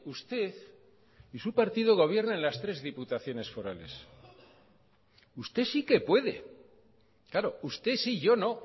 usted y su partido gobierna en las tres diputaciones forales usted sí que puede claro usted sí yo no